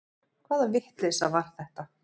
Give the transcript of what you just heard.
Hvaða vitleysa var þetta?